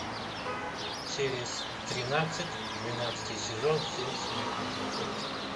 серия тринадцать двенадцатый сезон семь смертных грехов